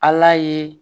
Ala ye